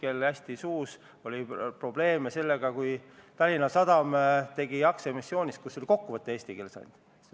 21. oktoobril arutas majanduskomisjon muude küsimuste all ministeeriumi palvet võtta vaatlusalune eelnõu 47 täna täiskogu päevakorda.